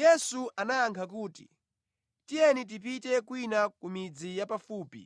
Yesu anayakha kuti, “Tiyeni tipite kwina ku midzi ya pafupi